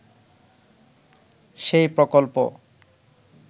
সেই প্রকল্প